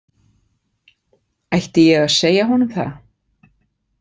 Ætti ég að segja honum það?